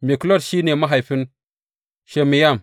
Miklot shi ne mahaifin Shimeyam.